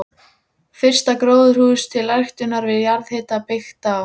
Útsynningur hafði verið um daginn með slæmum hryðjum.